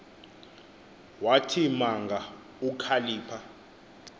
wathi manga ukhalipha